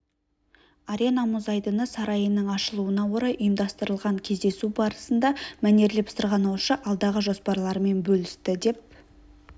арена мұз айдыны сарайының ашылуына орай ұйымдастырылған кездесу барысында мәнерлеп сырғанаушы алдағы жоспарларымен бөлісті деп